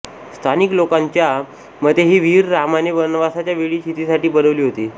स्थानिक लोकांच्या मते ही विहीर रामाने वनवासाच्या वेळी सीतेसाठी बनवली होती